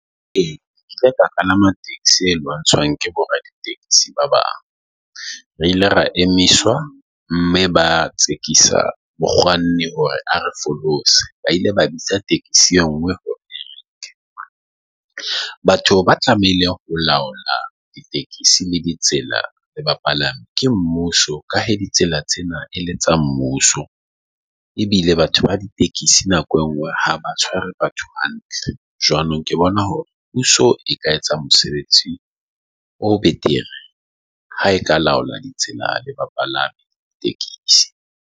E, ka palama taxi e lwantshang ke boraditekesi ba bang. Re ile ra emiswa, mme ba tsekisa mokganni hore re folosi ba ile ba bitsa e taxi e nngwe . Batho ba tlamehile ho laola di-taxi le ditsela le bapalami ke mmuso. Ka he ditsela tsena e le tsa mmuso ebile batho ba ditekesi nako e nngwe ha ba tshware batho hantle, jwanong ke bona hore puso e ka etsa mosebetsi o betere ha eka laola ditsela le bapalami .